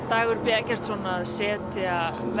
Dagur b Eggertsson að setja